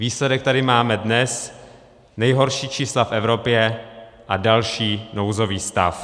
Výsledek tady máme dnes, nejhorší čísla v Evropě a další nouzový stav.